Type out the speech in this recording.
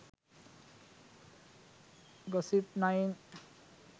gossip9